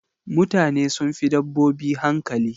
Mutane sun fi dabbobi hankali.